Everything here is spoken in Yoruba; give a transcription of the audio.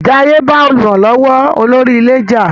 Jaiye ba olùrànlówó olórí ilé já.